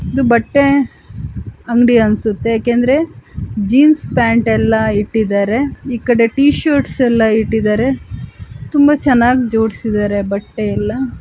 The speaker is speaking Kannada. ಇದು ಬಟ್ಟೆ ಅಂಗಡಿ ಅನ್ಸುತ್ತೆ ಯಾಕೆಂದ್ರೆ ಜೀನ್ಸ್ ಪ್ಯಾಂಟ್ ಎಲ್ಲ ಇಟ್ಟಿದ್ದಾರೆ ಇಕಡೆ ಟಿಶರ್ಟ್ಸ್ ಎಲ್ಲಇಟ್ಟಿದ್ದಾರೆ ತುಂಬಾ ಚೆನ್ನಾಗಿ ಜೂಡಿಸಿದ್ದಾರೆ ಬಟ್ --